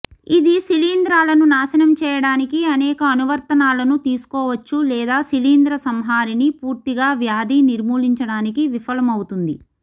ఇది శిలీంధ్రాలను నాశనం చేయడానికి అనేక అనువర్తనాలను తీసుకోవచ్చు లేదా శిలీంద్ర సంహారిణి పూర్తిగా వ్యాధి నిర్మూలించడానికి విఫలమవుతుంది